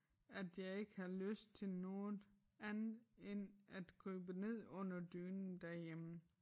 At jeg ikke har lyst til noget andet end at krybe ned under dynen derhjemme